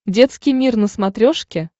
детский мир на смотрешке